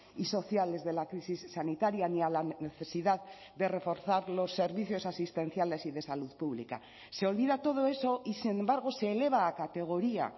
y sociales de la crisis sanitaria ni a la necesidad de reforzar los servicios asistenciales y de salud pública se olvida todo eso y sin embargo se eleva a categoría